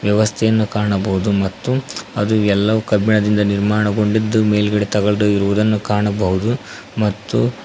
ವ್ಯವಸ್ಥೆಯನ್ನು ಕಾಣಬಹುದು ಮತ್ತು ಅದು ಎಲ್ಲವೂ ಕಬ್ಬಿಣದಿಂದ ನಿರ್ಮಾಣಗೊಂಡಿದ್ದು ಮೇಲ್ಗಡೆ ತಗಡು ಇರುವುದನ್ನು ಕಾಣಬಹುದು ಮತ್ತು--